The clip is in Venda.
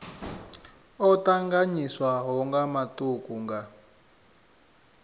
o tanganyiswaho nga matuku nga